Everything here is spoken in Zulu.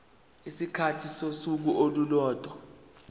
isikhathi sosuku olulodwa